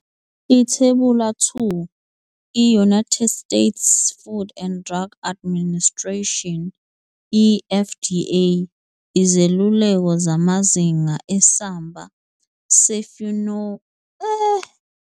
Ithebula 2- I-United States Food and Drug Administration, i-FDA, izeluleko zamazinga esamba se-Fumonisin ne-Deoxynivalenol ekudleni kwezilwane.